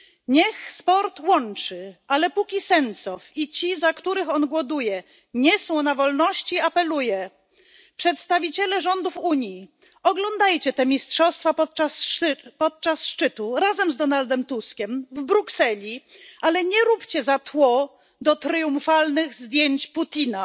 Niech sport łączy, ale póki Sencow i ci, za których on głoduje, nie są na wolności, apeluję przedstawiciele rządów Unii, oglądajcie te mistrzostwa podczas szczytu razem z Donaldem Tuskiem w Brukseli, ale nie róbcie za tło do triumfalnych zdjęć Putina!